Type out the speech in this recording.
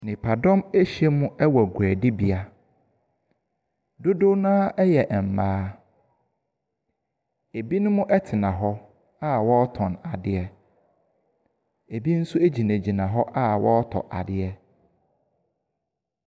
Nnipadɔm ahyiam wɔ guadibea. Dodow no ara yɛ mmaa. Ebinom tena hɔ a wɔretɔn adeɛ. Ebi nso gyinagyina hɔ a wɔretɔ adeɛ.